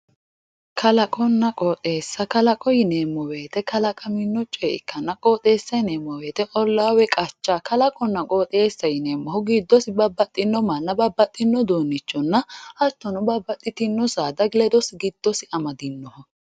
Kalaqonna qoxxeessa, kalaqo yineemmo woyte kalaqamino coye ikkanna qoxxeessa yineemmo woyte olla woyi qacha, kalaqonna qoxxeessa yineemmori giddose babbaxino manna babbaxino uduunichonna hattono babbaxitino saada ledose giddose amadinoho.